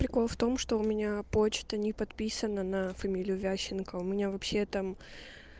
прикол в том что у меня почта не подписана на фамилию ващенко у меня вообще там